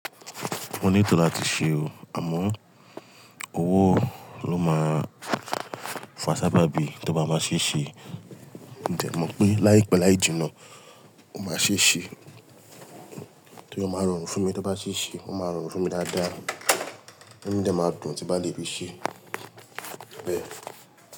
Mo ní tó láti ṣe o, àmọ́ owó ló máa fa sábàbí tó bá máa ṣe ṣe. N de mọ̀ pé láìpẹ́ láì jìnnà, ó máa ṣe ṣe. Tí ó máa rọrùn fún mi tó bá ṣe ṣe, ó máa rọrùn fún mi dáadáa. Inú mi de ma dùn tí bá lè bi ṣe bẹ́ẹ̀.